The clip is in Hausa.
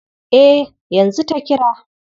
Eh, yanzu ta kira.